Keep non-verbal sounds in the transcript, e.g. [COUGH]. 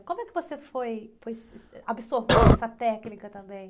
Como é que você foi, foi [UNINTELLIGIBLE] [COUGHS] absorvendo essa técnica também?